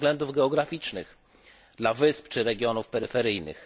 ze względów geograficznych dla wysp czy regionów peryferyjnych.